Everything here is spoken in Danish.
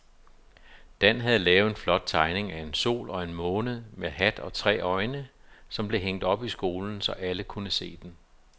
Dan havde lavet en flot tegning af en sol og en måne med hat og tre øjne, som blev hængt op i skolen, så alle kunne se den.